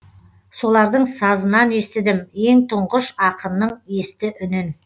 солардың сазынан естідім ең тұңғыш ақынның есті үнін